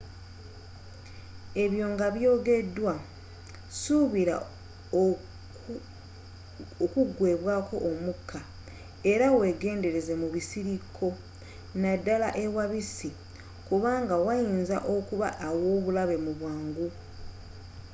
ebyo nga by'ogeddwa suubira okugweebwaako omukka era weegendereze mu bisirikko naddala ewabisi kubanga wayinza okuba awoobulabe mu bwangu